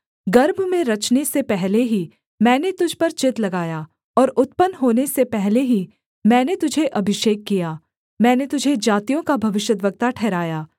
गर्भ में रचने से पहले ही मैंने तुझ पर चित्त लगाया और उत्पन्न होने से पहले ही मैंने तुझे अभिषेक किया मैंने तुझे जातियों का भविष्यद्वक्ता ठहराया